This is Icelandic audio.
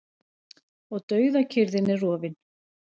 Og dauðakyrrðin er rofin.